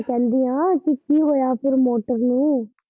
ਮੈਂ ਕਹਿੰਦੀ ਆ ਤੇ ਕਿ ਹੋਇਆ ਫਿਰ ਮੋਟਰ ਨੂੰ।